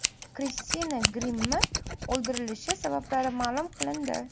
Kristina Grimmi o‘ldirilishi sabablari ma’lum qilindi.